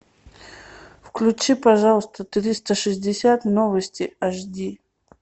включи пожалуйста триста шестьдесят новости аш ди